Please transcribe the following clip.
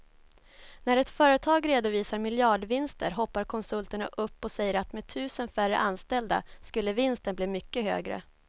När ett företag redovisar miljardvinster hoppar konsulterna upp och säger att med tusen färre anställda skulle vinsten bli mycket högre.